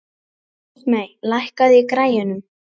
Ísmey, lækkaðu í græjunum.